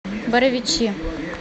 боровичи